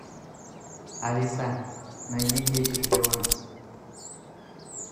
алиса найди дети шпионов